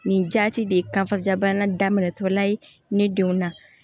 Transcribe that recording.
Nin jati de ye ka fa jabana daminɛ tɔ la ye ne denw na